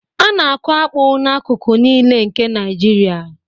A na-akụ akpu n'akụkụ niile nke Naịjirịa